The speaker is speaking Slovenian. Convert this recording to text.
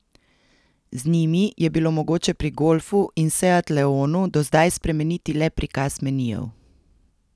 Z njimi je bilo mogoče pri golfu in seat leonu do zdaj spremeniti le prikaz menijev.